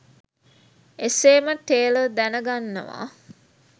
එසේම ටේලර් දැනගන්නවා